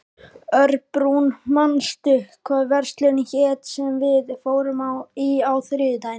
Örbrún, manstu hvað verslunin hét sem við fórum í á þriðjudaginn?